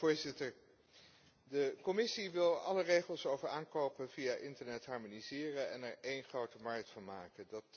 Mijnheer de voorzitter, de Commissie wil alle regels over aankopen via internet harmoniseren en er één grote markt van maken.